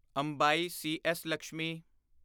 Ambai C S. Lakshmi